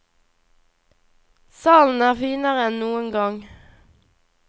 Salen er finere enn noen gang.